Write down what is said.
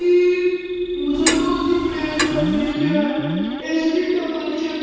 ਈ ਮੁਸ਼ਲਮਾਨ ਦੀ ਪਲੇਸ ਲੱਗ ਰਹੀ ਐ ਇਸ ਦੀ ਡੈਕੋਰੇਸ਼ਨ--